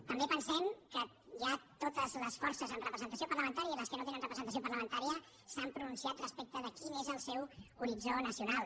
també pensem que ja totes les forces amb representació parlamentària i les que no tenen representació parlamentària s’han pronunciat respecte de quin és el seu horitzó nacional